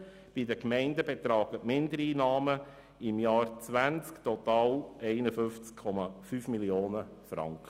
Bei den Gemeinden betragen die Mindereinnahmen im Jahr 2020 total 51,5 Mio. Franken.